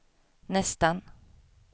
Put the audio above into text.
nästan